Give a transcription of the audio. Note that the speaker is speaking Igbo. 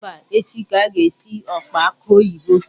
Mba, echi ka anyị ga esi osikapa akụ oyibo